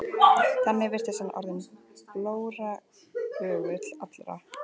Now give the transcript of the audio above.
Þannig virtist hann orðinn blóraböggull allra.